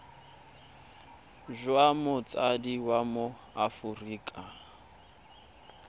jwa motsadi wa mo aforika